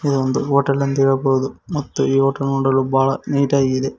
ಇದು ಒಂದು ಹೋಟೆಲ್ ಎಂದು ಹೇಳಬಹುದು ಮತ್ತು ಈ ಹೋಟೆಲ್ ನೋಡಲು ಬಹಳ ನೀಟಾ ಗಿದೆ.